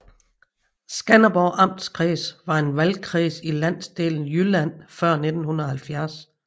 Skanderborg Amtskreds var en valgkreds i Landsdel Jylland før 1970